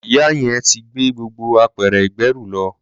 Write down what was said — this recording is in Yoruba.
Ìyá yẹn ti gbé gbogbo apẹ̀rẹ̀ ìgbẹ́rù lọ.